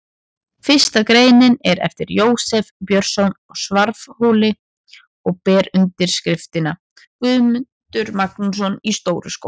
Fyrsta greinin er eftir Jósef Björnsson á Svarfhóli og ber yfirskriftina: Guðmundur Magnússon í Stóru-Skógum.